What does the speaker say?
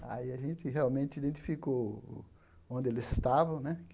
Aí, a gente realmente identificou onde eles estavam, né?